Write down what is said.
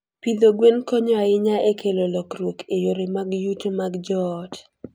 Pidho gwen konyo ahinya e kelo lokruok e yore mag yuto mag joot.